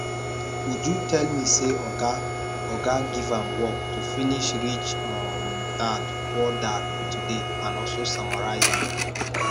uju tell me say oga oga give am work to finish rich um dadpoor dad today and also summarize am